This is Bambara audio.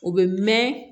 O bɛ mɛn